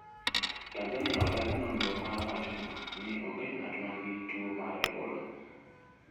Tanzania odagi nonro no kawacho ni onge ng'at ma nigi tuo mar Ebola